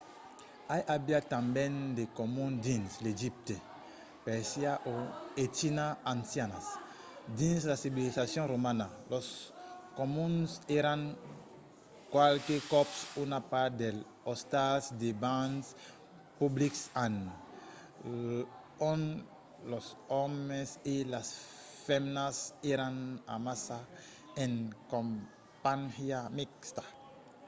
i aviá tanben de comuns dins l'egipte pèrsia e china ancianas. dins la civilizacion romana los comuns èran qualques còps una part dels ostals de banhs publics ont los òmes e las femnas èran amassa en companhiá mixta